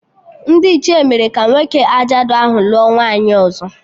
Ndị Ichie mere ka nwoke ajadu ahụ lụọ nwaanyị ọzọ